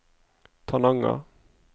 Tananger